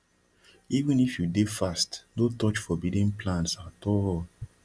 even if you dey fast no touch forbidden plants at all